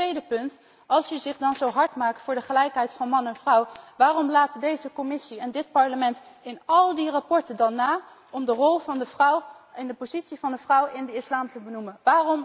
Mijn tweede punt als u zich dan zo hard maakt voor de gelijkheid van man en vrouw, waarom laten de Commissie en het Parlement in al die verslagen dan na om de rol van de vrouw en de positie van de vrouw in de islam te benoemen?